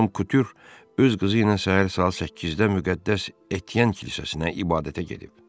Madam Kutyurx öz qızı ilə səhər saat 8-də müqəddəs Etien kilsəsinə ibadətə gedib.